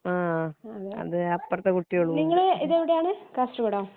ആ അതെ അപ്രത്തെ കുട്ടികളും ഉണ്ട്